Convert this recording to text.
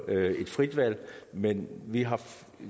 et frit valg men vi har